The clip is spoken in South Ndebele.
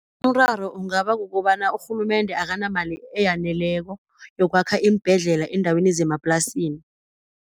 Umraro kungaba kukobana urhulumende akanamali eyaneleko yokwakha iimbhedlela eendaweni zemaplasini.